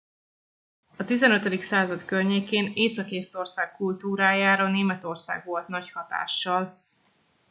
a 15. század környékén észak észtország kultúrájára németország volt nagy hatással